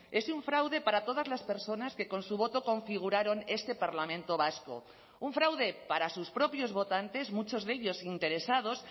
es un fraude para todas las personas que con su voto configuraron este parlamento vasco un fraude para sus propios votantes muchos de ellos interesados